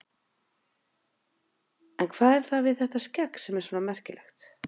En hvað er það við þetta skegg sem er svona merkilegt?